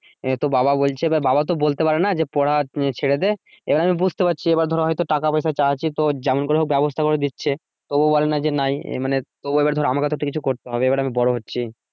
আহ তো বাবা বলছে বা বাবা তো বলতে পারে না যে পড়া উম ছেড়ে দে এবার আমি বুঝতে পারছি এবার ধরো হয়তো টাকা পয়সা চাচ্ছি যেমন করে হোক ব্যাবস্থা করে দিচ্ছে তবুও বলে না যে নাই আহ মানে তো এবার ধরো আমাকে একটা কিছু করতে হবে এবার আমি বড় হচ্ছি